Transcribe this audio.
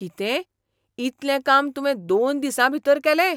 कितें? इतलें काम तुवें दोन दिसांभीतर केलें?